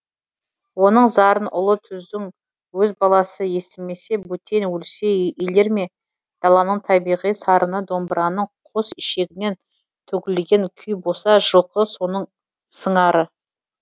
оның зарын ұлы түздің өз баласы естімесе бөтен өлсе елер ме даланың табиғи сарыны домбыраның қос ішегінен төгілген күй болса жылқы соның сыңары